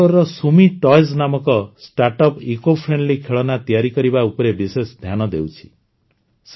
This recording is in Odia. ବାଙ୍ଗାଲୋରର ଶୁମେ ଟଏଜ୍ ସୁମି ଟୟଜ୍ ନାମକ ଷ୍ଟାର୍ଟଅପ ଇସିଓ ଫ୍ରେଣ୍ଡଲି ଖେଳନା ତିଆରି କରିବା ଉପରେ ବିଶେଷ ଧ୍ୟାନ ଦେଉଛି